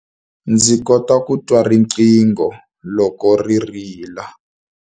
Ndzi kota ku twa riqingho loko ri rila.